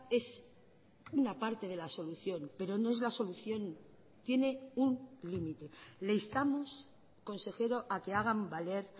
es una parte de la solución pero no es la solución tiene un límite le instamos consejero a que hagan valer